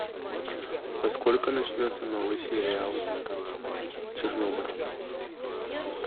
во сколько начнется новый сериал чернобыль